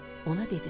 Ona dedilər: